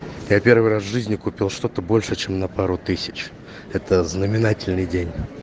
я первый раз в жизни купил что-то больше чем на пару тысяч это знаменательный день